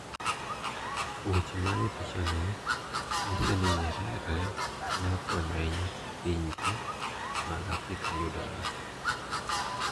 Weche manie pichani nyiso ni Nyerere ne okonyo ahinya pinje mag Afrika e yudo loch.